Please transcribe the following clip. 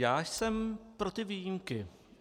Já jsem pro ty výjimky.